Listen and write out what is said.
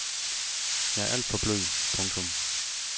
Jeg er alt for blød. punktum